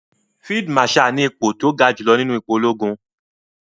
Field marshal ni ipò tó ja jùlọ nínú ipò ológun.